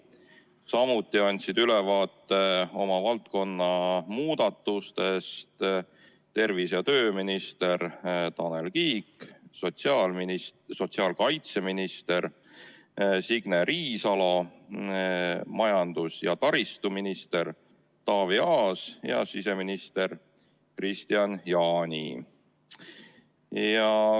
Samuti andsid ülevaate oma valdkonna muudatustest tervise- ja tööminister Tanel Kiik, sotsiaalkaitseminister Signe Riisalo, majandus- ja taristuminister Taavi Aas ja siseminister Kristian Jaani.